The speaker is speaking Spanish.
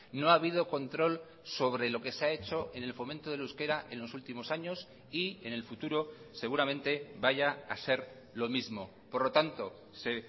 no ha habido control sobre lo que se ha hecho en el fomento del euskera en los últimos años y en el futuro seguramente vaya a ser lo mismo por lo tanto se